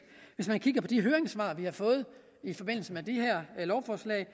hvis man kigger på de høringssvar vi har fået i forbindelse med det her lovforslag